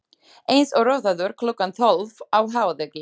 Eins og rotaður klukkan tólf á hádegi.